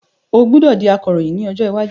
O gbọdọ di Akoroyin ni ojo iwaju.